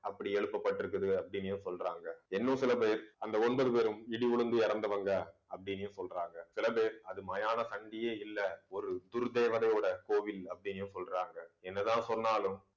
அப்படி எழுப்பப்பட்டிருக்குது அப்படின்னும் சொல்றாங்க இன்னும் சில பேர் அந்த ஒன்பது பேரும் இடி விழுந்து இறந்தவங்க அப்படின்னே சொல்றாங்க சில பேர் அது மயான இல்லை ஒரு குருதேவதையோட கோவில் அப்படின்னு சொல்றாங்க என்னதான் சொன்னாலும்